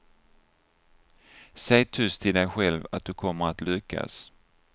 Säg tyst till dig själv att du kommer att lyckas.